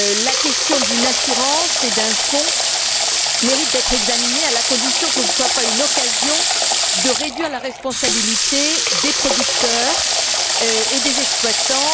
La question d'une assurance et d'un fonds mérite d'être examinée, à la condition que ce ne soit pas une occasion de réduire la responsabilité des producteurs et des exploitants.